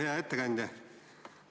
Hea ettekandja!